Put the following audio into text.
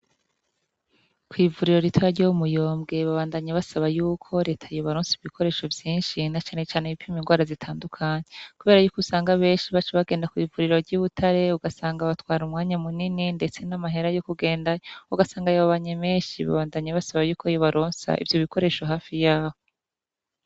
Kwivuriro ritoya ryo muyombwe babandanya basaba yuko reta yobaronsa ibikoresho vyinshi na cane cane ibipima inrwara zitandukanye kubera yuko usanga benshi bacabagenda kwivuriro ryibutare ugasanga batwara umwanya munini ndetse namahera yokugendayo ugasanga yababanye menshi babandanya basaba yuko yobaronsa ivyobikoresho hafi yaho